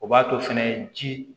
O b'a to fɛnɛ ji